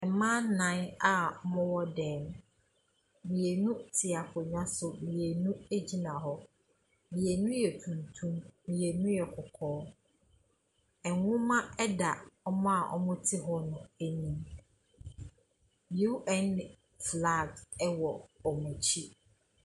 Mmaa nnan a wɔwɔ dan mu, mmienu te ankonnwa so, mmienu gyina hɔ, mmienu yɛ tuntum, mmienu yɛ kɔkɔɔ. Nwoma da wɔn wɔte hɔ no anim. UN flags wɔ wɔn akyi.